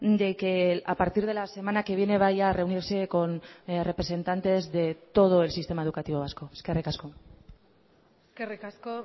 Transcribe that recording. de que a partir de la semana que viene vaya a reunirse con representantes de todo el sistema educativo vasco eskerrik asko eskerrik asko